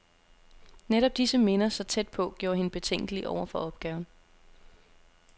Netop disse minder, så tæt på, gjorde hende betænkelig over for opgaven.